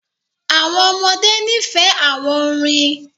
Àwọn ọmọdé ní fẹ̀ àwọn orín.